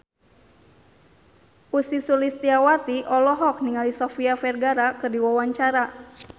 Ussy Sulistyawati olohok ningali Sofia Vergara keur diwawancara